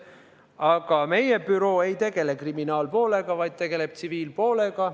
Aga meie büroo ei tegele kriminaalpoolega, ta tegeleb tsiviilpoolega.